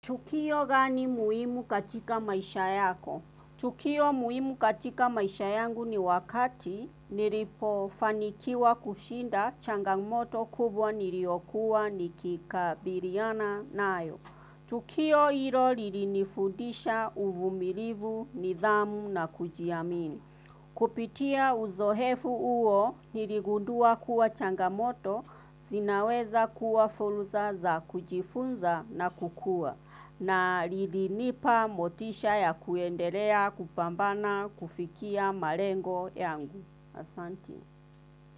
Tukio gani muhimu katika maisha yako? Tukio muhimu katika maisha yangu ni wakati nilipofanikiwa kushinda changamoto kubwa niliokuwa nikikabiliana nayo. Tukio hilo lilinifundisha uvumilivu, nidhamu na kujiamini. Kupitia uzoefu huo niligundua kuwa changamoto zinaweza kuwa fursa za kujifunza na kukua. Na lilinipa motisha ya kuendelea kupambana kufikia malengo yangu. Asanti.